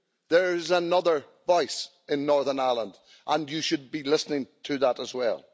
There is another voice in Northern Ireland, and you should be listening to that as well.